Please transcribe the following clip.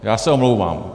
Já se omlouvám. .